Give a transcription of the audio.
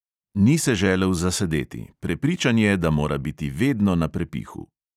Ni se želel "zasedeti", prepričan je, da mora biti vedno na prepihu.